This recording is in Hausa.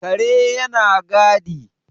kare yana gadi